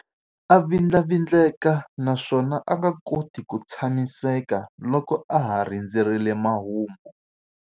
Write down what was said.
A vindlavindleka naswona a nga koti ku tshamiseka loko a ha rindzerile mahungu.